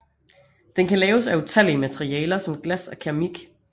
Den kan laves af utallige af materialer som glas og keramik